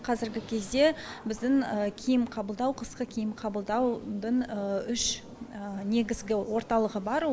қазіргі кезде біздің киім қабылдау қысқы киім қабылдаудың үш негізгі орталығы бар